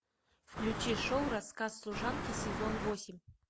включи шоу рассказ служанки сезон восемь